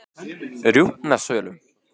Rjúpnasölum